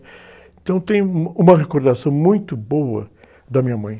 Então tenho um, uma recordação muito boa da minha mãe.